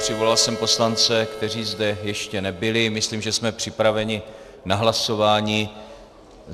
Přivolal jsem poslance, kteří zde ještě nebyli, myslím, že jsme připraveni na hlasování.